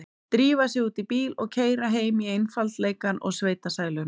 Drífa sig út í bíl og keyra heim í einfaldleikann og sveitasæluna.